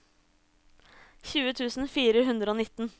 tjue tusen fire hundre og nitten